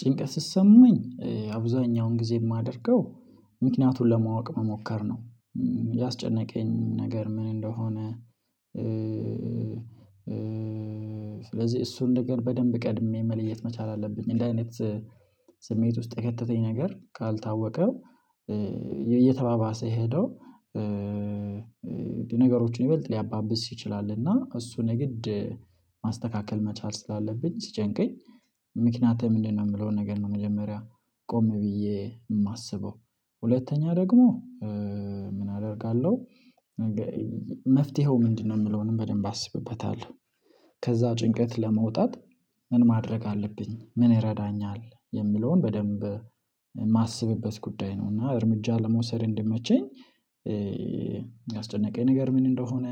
ጭንቀት ሲሰማኝ አብዛኛውን ጊዜ የማደርገው ምክንያቱን ለማወቅ መሞከር ነው። ያስጨነቀኝ ነገር ምን እንደሆነ ስለዚህ እሱን ነገር በደንብ ቀድሜ መለየት መቻል አለብኝ እንደዚህ አይነት ስሜት የከተተኝ ነገር ካልታወቀ እየተባባሰ ሄዶ ይበልጥ ሊያባብስ ይችላል እና እሱ ንግድ ማስተካከል መቻል ስላለብኝ ሲጨንቀኝ ምክንያቱ ምንድነው የምለው ነገር ነው? መጀመሪያ ቆም ብዬ የማስበው ሁለተኛ ደግሞ ምን አደርጋለሁ? መፍትሄው ምንድነው የምለውንም በደንብ አስብበታለሁ ከዛ ጭንቀት ለመውጣት ምን ማድረግ አለብኝ ምን ይረዳኛል የሚለውን በደንብ የማስብበት ጉዳይ ነው። እና እርምጃ ለመውሰድ እንዲመቸኝ ያስጨነቀኝ ነገር ምን እንደሆነ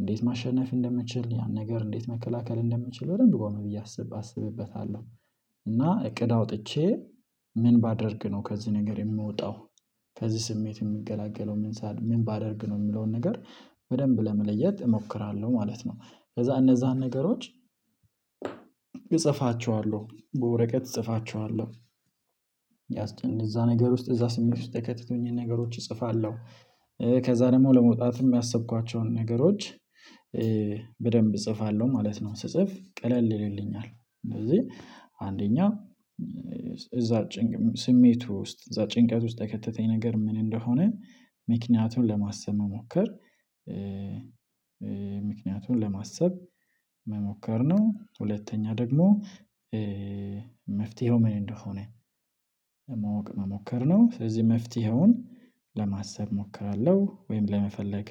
እንዴት ማሸነፍ እንደምችል ያን ነገር እንዴት መከላከል እንደምችል በደንብ ቆም ብዬ አስብ አስብበታለሁ። እና እቅድ አውጥቼ ምን ባደርግ ነው ከዚህ ነገር የምወጣው ከዚህ ስሜት የምገላገለው ምን ሳ ምን ባደርግ ነው የምለውን ነገር በደንብ ለመለየት እሞክራለሁ ማለት ነው። ከዛ እነዛን ነገሮች እጽፋቸዋለሁ በወረቀት እጽፋቸዋለሁ እዛ ነገር ውስጥ እዛ ስሜት ውስጥ የከተቱኝን ነገሮች እጽፋለሁ ከዛ ደግሞ ለመውጣትም ያሰብኳቸውን ነገሮች በደንብ እጽፋለሁ ማለት ነው። ስጽፍ ቀለል ይልልኛል አንደኛ እዛ ጭንቅ ስሜቱ ውስጥ እዛ ጭንቀት ውስጥ የከተተኝ ነገር ምን እንደሆነ ምክንያቱን ለማሰብ መሞከር ምክንያቱን ለማሰብ መሞከር ነው። ሁለተኛ ደግሞ መፍትሄው ምን እንደሆነ መሞከር ነው። ስለዚህ መፍትሄውን ለማሰብ እሞክራለሁ ወይም ለመፈለግ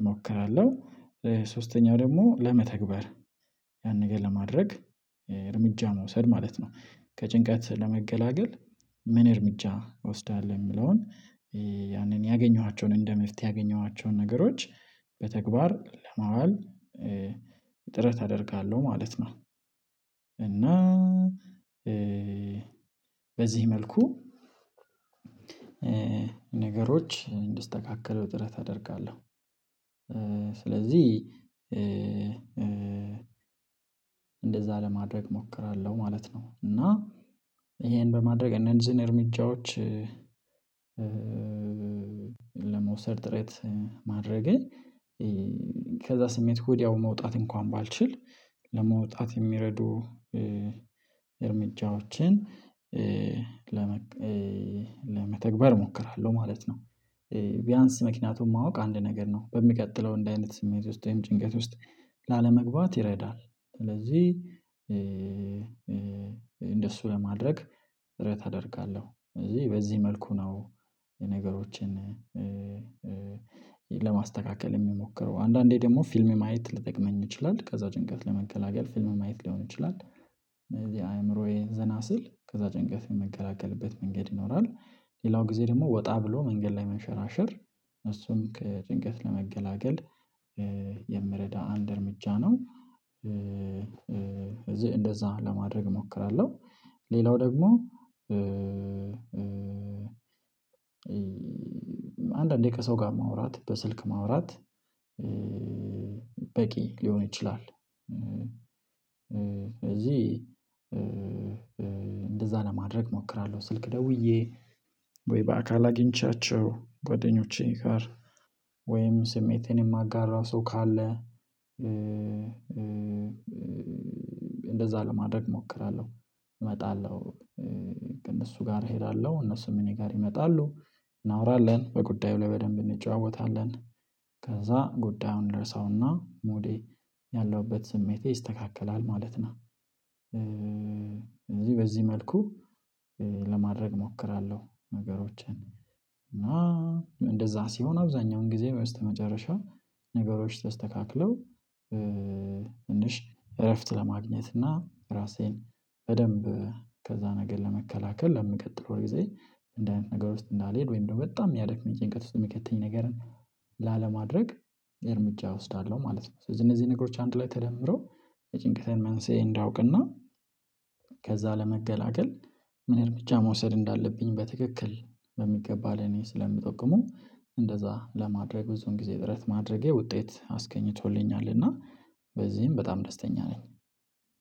እሞክራለሁ ሶስተኛው ደግሞ ለመተግበር ያን ነገር ለማድረግ እርምጃ መውሰድ ማለት ነው። ከጭንቀት ለመገላገል ምን እርምጃ እወስዳለሁ የሚለውን ያንን ያገኘኋቸውን እንደ መፍትሄ ያገኘኋቸውን ነገሮች በተግባር ለማዋል አደርጋለሁ ማለት ነው። እና በዚህ መልኩ ነገሮች እንዲስተካከሉ ጥረት አደርጋለሁ ስለዚህ እንደዛ ለማድረግ እሞክራለሁ ማለት ነው። እና ይሄን በማድረግ እነዚህን እርምጃዎች ለመውሰድ ጥረት ማድረግን ከዛ ስሜት ወዲያው መውጣት እንኳን ባልችል ለመውጣት የሚረዱ እርምጃዎችን ለመተግበር እሞክራለሁ ማለት ነው። ቢያንስ ምክንያቱም ማወቅ አንድ ነገር ነው በሚቀጥለው እንዲህ አይነት ስሜት ውስጥ ይሄም ጭንቀት ውስጥ ላለመግባት ይረዳል። ስለዚህ እንደሱ ለማድረግ ጥረት አደርጋለሁ ስለዚህ በዚህ መልኩ ነው። የነገሮችን ለማስተካከል የምሞክረው አንዳንዴ ደግሞ ፊልም ማየት ሊጠቅመኝ ይችላል ከዛ ጭንቀት ለመገላገል ፊልም ማየት ሊሆን ይችላል። የአእምሮዬ ዘና ሲል ከዛ ጭንቀት የመገላገልበት መንገድ ይኖራል። ሌላው ጊዜ ደግሞ ወጣ ብሎ መንገድ ላይ መንሸራሸር እሱም ከጭንቀት ለመገላገል የሚረዳ አንድ እርምጃ ነው። እዚህ እንደዛ ለማድረግ እሞክራለሁ ሌላው ደግሞ አንዳንድ ደቂቃ ሰው ጋር ማውራት በስልክ ማውራት በቂ ሊሆን ይችላል። እዚህ እንደዛ ለማድረግ እሞክራለሁ ስልክ ደውዬ ወይ በአካል አግኝቻቸው ጓደኞቼ ጋር ወይም ስሜቴን የማጋራ ሰው ካለ እንደዛ ለማድረግ እሞክራለሁ እመጣለሁ ከእነሱ ጋር እሄዳለሁ እነሱም እኔ ጋር ይመጣሉ እናወራለን በጉዳዩ ላይ በደንብ እንጨዋወታለን ከዛ ጉዳዩን እንረሳውና ሙዴ ያለሁበት ስሜቴ ይስተካከላል ማለት ነው። እዚህ በዚህ መልኩ ለማድረግ እሞክራለሁ ነገሮችን እና እንደዛ ሲሆን አብዛኛውን ጊዜ በስተመጨረሻ ነገሮች ተስተካክለው እንሽ እረፍት ለማግኘት እና ራሴን በደንብ ከዛ ነገር ለመከላከል ለሚቀጥለው ወይ ጊዜ እንደ አይነት ነገር ውስጥ እንዳልሄድ ወይም ደግሞ በጣም የሚያደክመኝ ጭንቀት ውስጥ የሚከተኝ ነገርን ላለማድረግ እርምጃ እወስዳለሁ ማለት ነው። እነዚህ ነገሮች አንድ ላይ ተደምሮ የጭንቀታዊ መንስኤ እንዳውቅና ከዛ ለመገላገል ምን እርምጃ መውሰድ እንዳለብኝ በትክክል በሚገባ ለኔ ስለሚጠቅሙ እንደዛ ለማድረግ ብዙን ጊዜ ጥረት ማድረጌ ውጤት አስገኝቶልኛል። እና በዚህም በጣም ደስተኛ ነኝ።